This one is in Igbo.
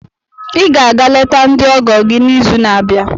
Ị ga-aga leta ndị ọgọ gị n'izu na-abịa.